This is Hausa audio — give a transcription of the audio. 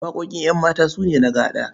Waƙoƙin ƴanmata su ne na gaɗa.